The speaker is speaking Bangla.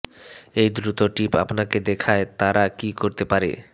এই দ্রুত টিপ আপনাকে দেখায় তারা কি করতে পারে